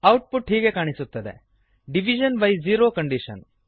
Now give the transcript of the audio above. output ಹೀಗೆ ಕಾಣಿಸುತ್ತದೆ division by zero condition